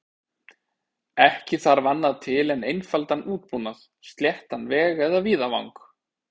Ekki þarf annað til en einfaldan útbúnað, sléttan veg eða víðavang.